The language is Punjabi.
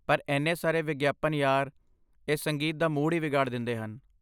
ਪਰ ਇੰਨੇ ਸਾਰੇ ਵਿਗਿਆਪਨ ਯਾਰ, ਇਹ ਸੰਗੀਤ ਦਾ ਮੂਡ ਹੀ ਵਿਗਾੜ ਦਿੰਦੇ ਹਨ।